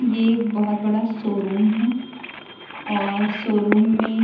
ये एक बहोत बड़ा शोरूम है और शोरूम में --